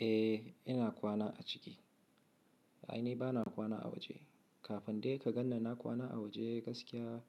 Eh, ina kwana a ciki. A'a, ni ba na kwana a waje. Kafin dai ka gan ni na kwana a waje gaskiya,